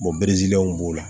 b'o la